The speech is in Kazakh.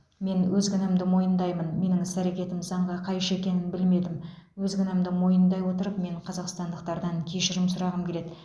мен өз кінәмді мойындаймын менің іс әрекетім заңға қайшы екенін білмедім өз кінәмді мойындай отырып мен қазақстандықтардан кешірім сұрағым келеді